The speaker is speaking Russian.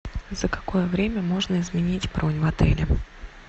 за какое время можно изменить бронь в отеле